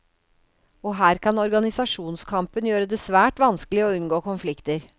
Og her kan organisasjonskampen gjøre det svært vanskelig å unngå konflikter.